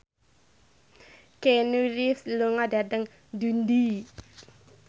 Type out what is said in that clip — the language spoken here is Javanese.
Keanu Reeves lunga dhateng Dundee